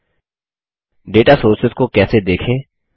दाता Sourcesडेटा सोर्सेस को कैसे देखें